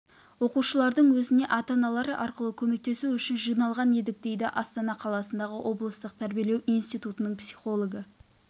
оқушылардың өзіне ата-аналары арқылы көмектесу үшін жиналған едік дейді астана қаласындағы облыстылық тәрбиелеу институтының психологі